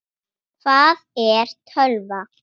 Hvað er tölva?